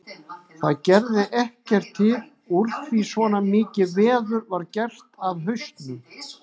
Það gerði ekkert til úr því svona mikið veður var gert af hausnum.